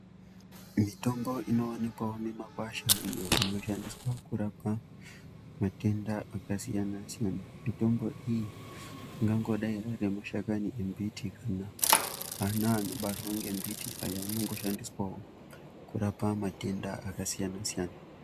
Mitombo inowanikwawo mumakwasha iyo inoshandiswa kurapa matenda akasiyana siyana , mitombo iyi ingangodai arimashakani embiti kana ana anobarwara nembiti aya anoshandisirwawo kurapa matenda akasiyana siyana.